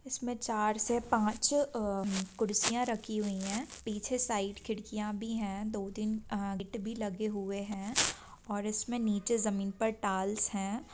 इसमें चार से पांच अ कुर्सियां रखी हुई हैं | पीछे साइड खिड़कियां भी हैं | दो तीन गेट भी लगे हुए हैं | और इसमें नीचे जमीन पर टाइल्स हैं ।